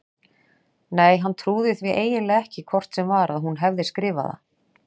Nei, hann trúði því eiginlega ekki hvort sem var að hún hefði skrifað það.